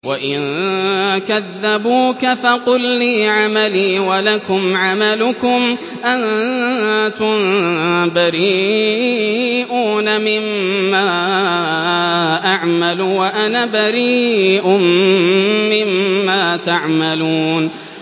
وَإِن كَذَّبُوكَ فَقُل لِّي عَمَلِي وَلَكُمْ عَمَلُكُمْ ۖ أَنتُم بَرِيئُونَ مِمَّا أَعْمَلُ وَأَنَا بَرِيءٌ مِّمَّا تَعْمَلُونَ